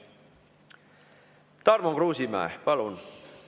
Tarmo Kruusimäe, palun!